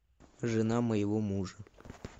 жена моего мужа